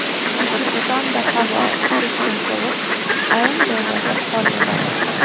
O‘zbekistonda havo keskin sovib, ayrim joylarda qor yog‘adi.